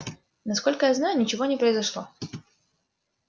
насколько я знаю ничего не произошло